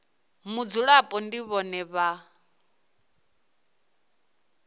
mudzulapo ndi vhone vhane vha